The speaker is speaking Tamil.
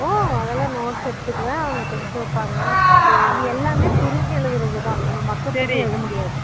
ஒ அதுல்லா notes எடுத்துகுவன் அவுங்க test வெப்பாங்க எல்லாமே நம்ம புரிஞ்சு எழுதறது தான் நம்ம மக்கப் பண்ணி எழுத முடியாது